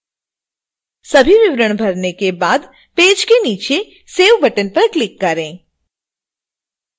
सभी विवरण भरने के बाद पेज के नीचे save बटन पर क्लिक करें